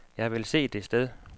Jeg vil se det sted.